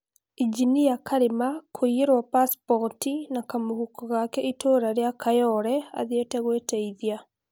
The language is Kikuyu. Injinia Karima kũiyeruo pasipot na kamũhuko gake itũũra rĩa kayore athiete gwiteithia